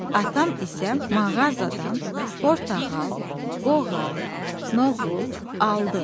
Atam isə mağazadan portağal, qoğal, noğul aldı.